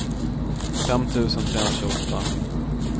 fem tusen trehundratjugoåtta